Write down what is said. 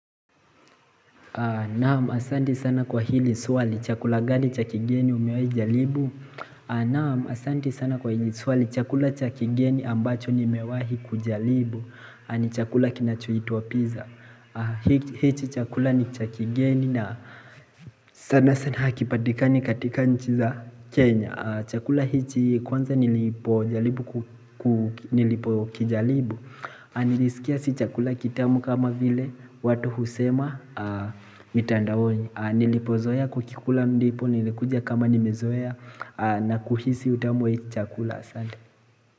Naam asanti sana kwa hili suali chakula gani cha kigeni umewahi jalibu Naam asanti sana kwa hili suali chakula cha kigeni ambacho ni mewahi kujalibu ni chakula kinachohitwa pizza Hichi chakula ni cha kigeni na sana sana hakipatikani katika nchi za Kenya Chakula hichi kwanza nilipo kijalibu Nilisikia si chakula kitamu kama vile watu husema mitandaoni Nilipozoea kukikula mdipo nilikuja kama nimezoea na kuhisi utamu we chakula.